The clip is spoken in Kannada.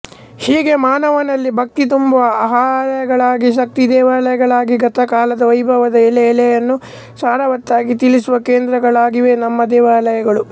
ಹೀಗೇ ಮಾನವನಲ್ಲಿ ಭಕ್ತಿ ತುಂಬುವ ಆಲಯಗಳಾಗಿ ಶಕ್ತಿ ದೇವಾಲಯಗಳಾಗಿ ಗತಕಾಲದ ವೈಭವದ ಎಳೆಎಳೆಯನ್ನೂ ಸಾರವತ್ತಾಗಿ ತಿಳಿಸುವ ಕೇಂದ್ರಗಳಾಗಿವೆ ನಮ್ಮ ದೇವಾಲಯಗಳು